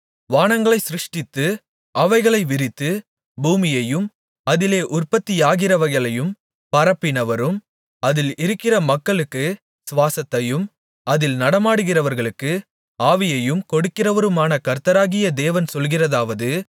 வானங்களைச் சிருஷ்டித்து அவைகளை விரித்து பூமியையும் அதிலே உற்பத்தியாகிறவைகளையும் பரப்பினவரும் அதில் இருக்கிற மக்களுக்குச் சுவாசத்தையும் அதில் நடமாடுகிறவர்களுக்கு ஆவியையும் கொடுக்கிறவருமான கர்த்தராகிய தேவன் சொல்கிறதாவது